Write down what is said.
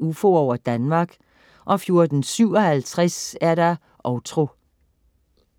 UFOer over Danmark* 14.57 Outro